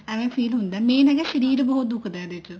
ਏਵੇਂ feel ਹੁੰਦਾ ਮੈਂ ਹੈਗਾ ਸ਼ਰੀਰ ਬਹੁਤ ਦੁਖਦਾ ਇਹਦੇ ਵਿੱਚ